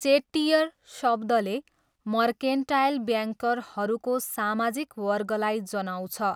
चेट्टियर' शब्दले मर्केन्टाइल ब्याङ्करहरूको सामाजिक वर्गलाई जनाउँछ।